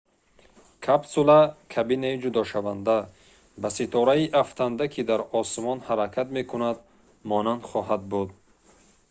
капсула кабинаи ҷудошаванда ба ситораи афтанда ки дар осмон ҳаракат мекунад монанд хоҳад буд